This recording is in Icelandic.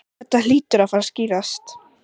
Þetta hlýtur að fara að skýrast